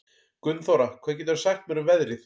Gunnþóra, hvað geturðu sagt mér um veðrið?